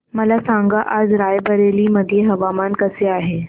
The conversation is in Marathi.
मला सांगा आज राय बरेली मध्ये हवामान कसे आहे